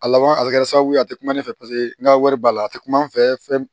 A laban a bɛ kɛ sababu ye a tɛ kuma ne fɛ paseke n ka wari b'a la a tɛ kuma ne fɛ fɛn